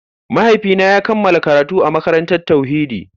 Mahaifina ya kammala karatu a makarantar tauhidi.